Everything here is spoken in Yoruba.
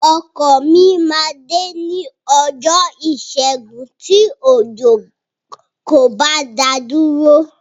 Ọkọ mi máa dé ní ọjọ́ Ìṣẹ́gun tí òjò kò bá dá a dúró.